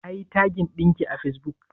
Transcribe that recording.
Nayi tagin ɗinki a fesbuk?